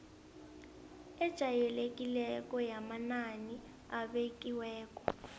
ejayelekileko yamanani abekiweko